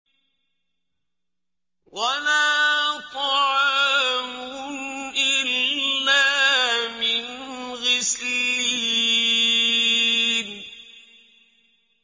وَلَا طَعَامٌ إِلَّا مِنْ غِسْلِينٍ